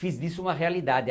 Fiz disso uma realidade.